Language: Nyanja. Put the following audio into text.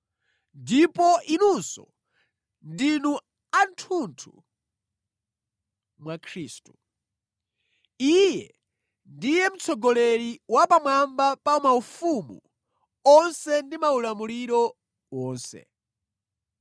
Ndipo inunso ndinu athunthu mwa Khristu. Iye ndiye mtsogoleri wa pamwamba pa maufumu onse ndi maulamuliro wonse.